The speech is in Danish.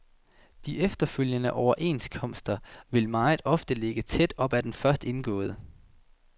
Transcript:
De efterfølgende overenskomster vil meget ofte ligge tæt op ad den først indgåede.